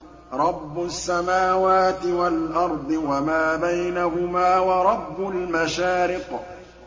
رَّبُّ السَّمَاوَاتِ وَالْأَرْضِ وَمَا بَيْنَهُمَا وَرَبُّ الْمَشَارِقِ